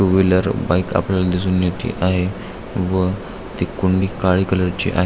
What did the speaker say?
To wheeler bike आपल्याला दिसून येत आहे व ती कुणी काळी कलर ची आहे.